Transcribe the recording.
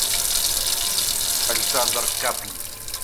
александр каплий